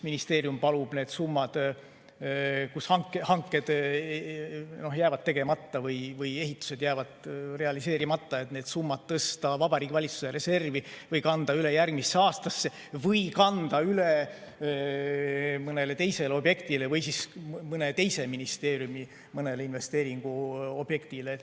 Ministeerium palub need summad, mille puhul hanked jäävad tegemata või ehitused jäävad realiseerimata, tõsta Vabariigi Valitsuse reservi või kanda üle järgmisse aastasse või kanda üle mõnele teisele objektile, vahel mõne teise ministeeriumi mõnele investeeringuobjektile.